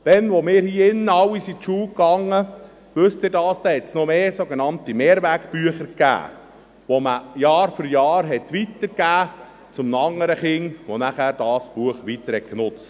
Damals, als wir, die in diesem Saal Anwesenden, zur Schule gingen – wissen Sie dies? –, gab es noch mehr sogenannte Mehrwegbücher, die man Jahr für Jahr an ein anderes Kind weitergab, das dieses Buch weiterbenutzte.